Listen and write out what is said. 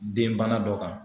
Denbana dɔ kan.